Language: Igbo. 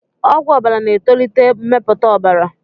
Ọgwụ ọbara na-etolite mmepụta ọbara.